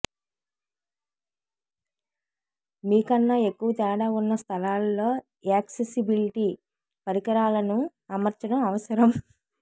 మీ కన్నా ఎక్కువ తేడా ఉన్న స్థలాలలో యాక్సెసిబిలిటీ పరికరాలను అమర్చడం అవసరం